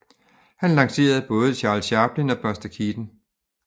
Han lancerede både Charles Chaplin og Buster Keaton